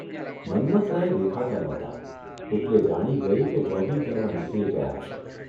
મન્મથરાય દેખાતા નહોતા એટલે જાણી ગઇ કે જોગિંગ કરવા નીકળી ગયા હશે.